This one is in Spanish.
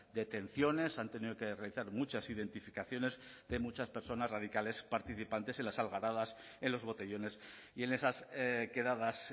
detenciones han tenido que realizar muchas identificaciones de muchas personas radicales participantes en las algaradas en los botellones y en esas quedadas